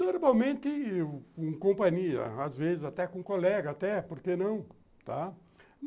Normalmente em companhia, às vezes até com colega, até, por que não, tá?